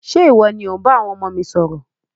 Ṣe iwọ ni o n bá àwọn ọmọ mi sọ̀rọ̀?